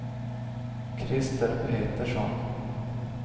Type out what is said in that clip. Krister Petersson